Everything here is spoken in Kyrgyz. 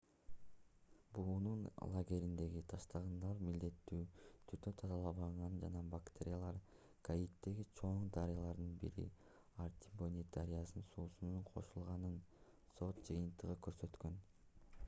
буунун лагериндеги таштандылар милдеттүү түрдө тазаланбаганын жана бактериялар гаитидеги чоң дарыялардын бири артибонит дарыясынын суусуна кошулганын сот жыйынтыгы көрсөткөн